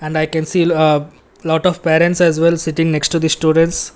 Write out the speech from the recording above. And i can see a lot of parents as well sitting next to the students.